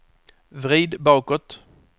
vrid bakåt